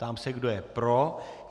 Ptám se, kdo je pro.